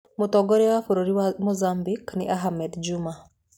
Mũtongoria wa bũrũri wa Mozambique nĩ Ahmed Juma.